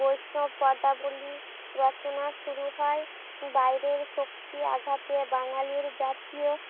বৈষ্ণৱ পদাবলীর রচনা শুরু হয় বাইরের শক্তি আঘাতে বাঙালির জাতিও